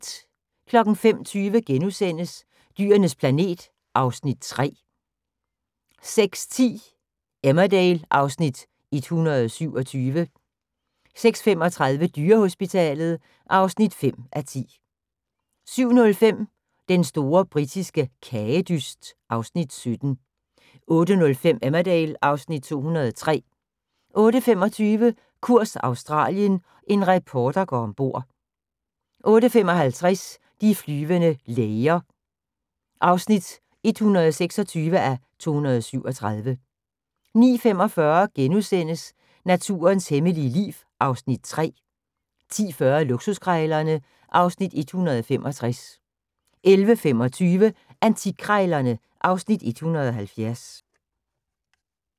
05:20: Dyrenes planet (Afs. 3)* 06:10: Emmerdale (Afs. 127) 06:35: Dyrehospitalet (5:10) 07:05: Den store britiske kagedyst (Afs. 17) 08:05: Emmerdale (Afs. 203) 08:25: Kurs Australien – en reporter går ombord (3:5) 08:55: De flyvende læger (126:237) 09:45: Naturens hemmelige liv (Afs. 3)* 10:40: Luksuskrejlerne (Afs. 165) 11:25: Antikkrejlerne (Afs. 170)